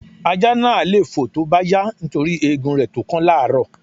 Ajá náà le lé fòó tó bá yá nítorí egun rẹ̀ tó kán lárọ́ọ̀.